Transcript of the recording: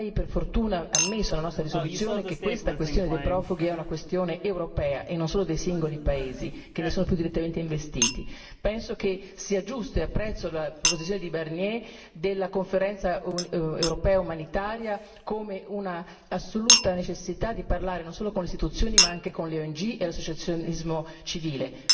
Per fortuna ormai è ammesso nella nostra risoluzione che la questione dei profughi è una questione europea e non solo dei singoli paesi che ne sono più direttamente investiti. Penso e apprezzo la proposizione di Barnier della conferenza europea umanitaria come un'assoluta necessità di parlare non solo con le istituzioni, ma anche con le ONG e l'associazionismo civile